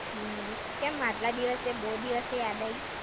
હમ્મ, કેમ આટલા દિવસે, બવ દિવસે યાદ આઈ?